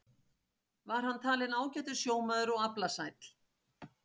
Var hann talinn ágætur sjómaður og aflasæll.